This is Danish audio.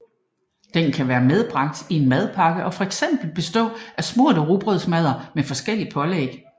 Den kan være medbragt i en madpakke og fx bestå af smurte rugbrødsmadder med forskelligt pålæg